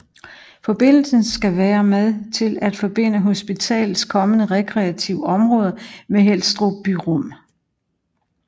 Forbindelsen skal være med til at forbinde hospitalets kommende rekreative område med Helstrups byrum